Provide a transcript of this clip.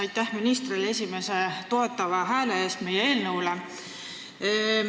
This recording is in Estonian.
Aitäh ministrile esimese toetava hääle eest meie eelnõule!